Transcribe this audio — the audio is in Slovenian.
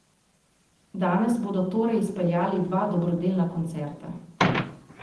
Danes bodo torej izpeljali dva dobrodelna koncerta.